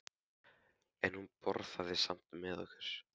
En hún borðaði samt með okkur.